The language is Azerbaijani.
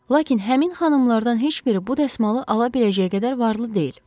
Lakin həmin xanımlardan heç biri bu dəsmalı ala biləcək qədər varlı deyil.